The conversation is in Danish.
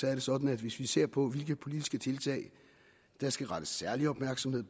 er det sådan at hvis vi ser på hvilke politiske tiltag der skal rettes særlig opmærksomhed